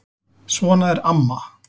Svona er amma.